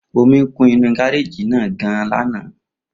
Omi kún inú gareji náà gan-an lana.